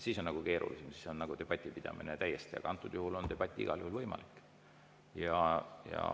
Siis on nagu keerulisem, siis on debati pidamine täiesti, aga antud juhul on debatt igal juhul võimalik.